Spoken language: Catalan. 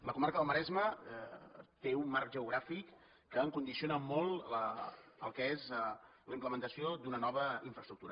la comarca del maresme té un marc geogràfic que condiciona molt el que és la implementació d’una nova infraestructura